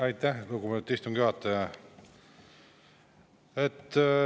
Aitäh, lugupeetud istungi juhataja!